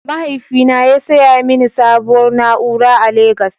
Mahaifina ya saya mini sabuwar na'ura a legos.